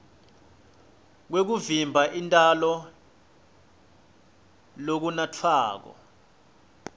kwekuvimba intalo lokunatfwako